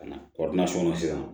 Ka na sisan